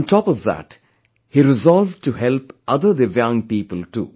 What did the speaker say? On top of that, he resolved to help other divyang people people too